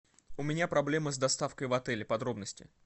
у меня проблемы с доставкой в отеле подробности